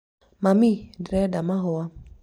mami, ndĩreda mahũa